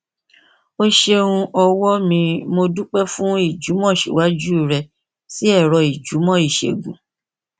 o ṣeun ọwọ mimo dúpẹ fún ìjùmọsíwájú rẹ sí ẹrọ ìjùmọ ìṣègùn